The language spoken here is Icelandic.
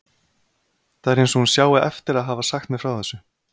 Það er eins og hún sjái eftir að hafa sagt mér frá þessu.